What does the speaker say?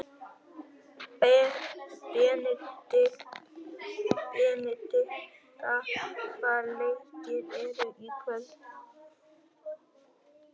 Benidikta, hvaða leikir eru í kvöld?